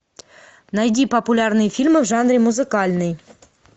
найди популярные фильмы в жанре музыкальный